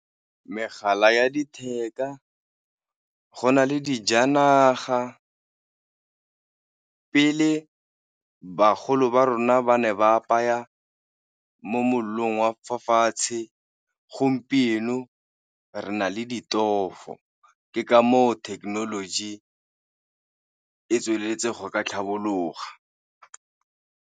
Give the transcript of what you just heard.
Megala ya letheka, go na le dijanaga. Pele bagolo ba rona ba ne ba apaya mo mollong wa fa fatshe, gompieno re na le ditofo, ke ka moo technology e tsweletse go ka tlhabologa.